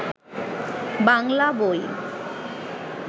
বাংলা বই